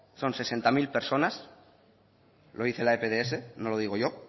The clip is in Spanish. son sesenta mil personas lo dice la epds no lo digo yo